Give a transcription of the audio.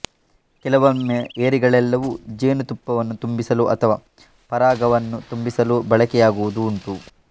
ಕೆಲವೊಮ್ಮೆ ಏರಿಗಳೆಲ್ಲವೂ ಜೇನುತುಪ್ಪವನ್ನು ತುಂಬಿಸಲೋ ಅಥವಾ ಪರಾಗವನ್ನು ತುಂಬಿಸಲೋ ಬಳಕೆಯಾಗುವುದೂ ಉಂಟು